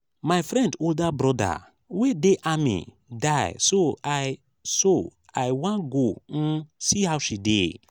my friend older broda wey dey army die so i so i wan go um see how she dey